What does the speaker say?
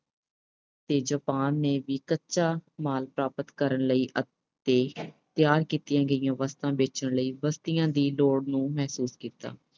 ਤੇ Japan ਨੇ ਵੀ ਕੱਚਾ ਮਾਲ ਪ੍ਰਾਪਤ ਕਰਨ ਲਈ ਅਤੇ ਤਿਆਰ ਕੀਤੀਆਂ ਗਈਆਂ ਵਸਤੂਆਂ ਵੇਚਣ ਲਈ ਬਸਤੀਆਂ ਦੀ ਦੌੜ ਨੂੰ ਮਹਿਸੂਸ ਕੀਤਾ।